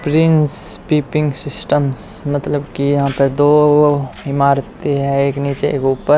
Prince piping systems मतलब कि यहां पर दो इमारतें हैं एक नीचे एक ऊपर।